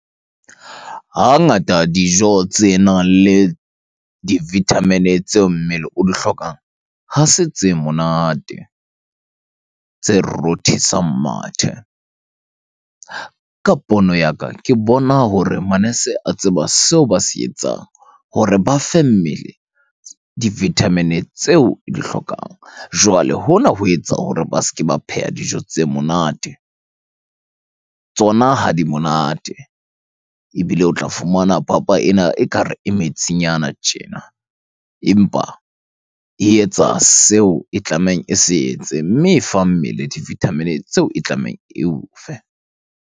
Hangata dijo tse nang le di-vitamin-e tseo mmele o di hlokang, ha se tse monate, tse rothisang mathe. Ka pono ya ka, ke bona hore manese a tseba seo ba se etsang hore ba fe mmele di-vitamin-e tseo di hlokang. Jwale, hona ho etsa hore ba se ke ba pheha dijo tse monate. Tsona ha di monate ebile o tla fumana papa ena ekare e metsinyana tjena, empa e etsa seo e tlamehang e se etse. Mme e fa mmele di-vitamin-e tseo e tlamehang eo fe.